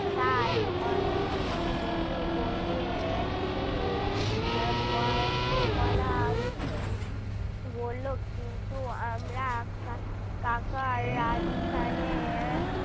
তাই উম দিদিমণি বললেন ঠিক পলা~ পলাশ বলল কিন্তু আমরা কাকা রাজস্থানে